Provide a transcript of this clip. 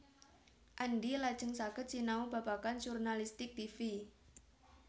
Andy lajeng saged sinau babagan jurnalistik tivi